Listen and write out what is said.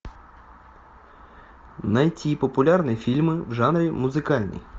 найти популярные фильмы в жанре музыкальный